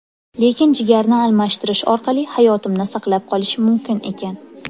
Lekin jigarni almashtirish orqali hayotimni saqlab qolish mumkin ekan.